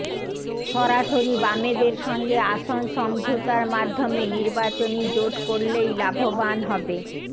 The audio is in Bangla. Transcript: সরাসরি বামেদের সঙ্গে আসন সমঝোতার মাধ্যমে নির্বাচনী জোট করলেই লাভবান হবে